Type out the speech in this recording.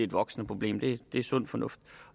voksende problem det er sund fornuft